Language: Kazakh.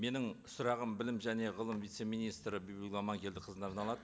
менің сұрағым білім және ғылым вице министрі бибігүл аманкелдіқызына арналады